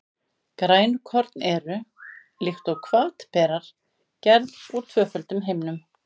Grænukorn eru, líkt og hvatberar, gerð úr tvöföldum himnum.